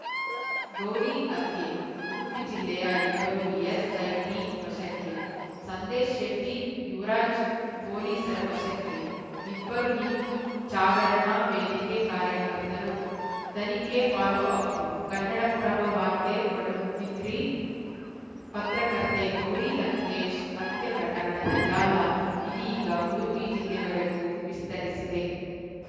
ಗೌರಿ ಹತ್ಯೆ ಉಡುಪಿ ಜಿಲ್ಲೆಯ ಇಬ್ಬರು ಎಸ್‌ಐಟಿ ವಶಕ್ಕೆ ಸಂದೇಶ್‌ ಶೆಟ್ಟಿ ಯುವರಾಜ್‌ ಪೊಲೀಸರ ವಶಕ್ಕೆ ಇಬ್ಬರೂ ಹಿಂದೂ ಚಾಗರಣಾ ವೇದಿಕೆ ಕಾರ್ಯಕರ್ತರು ತನಿಖೆ ಫಾಲೋಅಪ್‌ ಕನ್ನಡಪ್ರಭ ವಾರ್ತೆ ಪಡುಬಿದ್ರಿ ಪತ್ರಕರ್ತೆ ಗೌರಿ ಲಂಕೇಶ್‌ ಹತ್ಯೆ ಪ್ರಕರಣದ ಜಾಲ ಇದೀಗ ಉಡುಪಿ ಜಿಲ್ಲೆವರೆಗೂ ವಿಸ್ತರಿಸಿದೆ